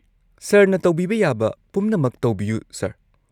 ꯁꯔꯅ ꯇꯧꯕꯤꯕ ꯌꯥꯕ ꯄꯨꯝꯅꯃꯛ ꯇꯧꯕꯤꯌꯨ, ꯁꯔ꯫